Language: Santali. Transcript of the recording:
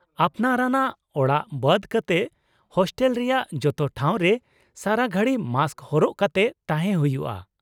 ᱟᱯᱱᱟᱨ ᱟᱱᱟᱜ ᱚᱲᱟᱜ ᱵᱟᱫᱽ ᱠᱟᱛᱮ, ᱦᱳᱥᱴᱮᱞ ᱨᱮᱭᱟᱜ ᱡᱚᱛᱚ ᱴᱷᱟᱶ ᱨᱮ ᱥᱟᱨᱟ ᱜᱷᱟᱲᱤᱡ ᱢᱟᱥᱠ ᱦᱚᱨᱚᱜ ᱠᱟᱛᱮ ᱛᱟᱦᱮᱸ ᱦᱩᱭᱩᱜᱼᱟ ᱾